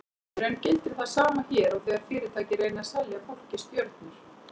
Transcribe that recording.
Í raun gildir það sama hér og þegar fyrirtæki reyna að selja fólki stjörnur.